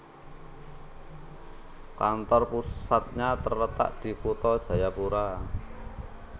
Kantor pusatnya terletak di Kutha Jayapura